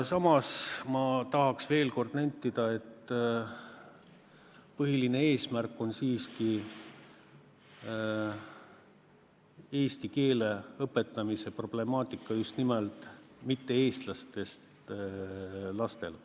Samas ma nendin veel kord, et põhiline eesmärk on lahendada probleem, kuidas siiski õpetada eesti keelt just nimelt mitte-eestlastest lastele.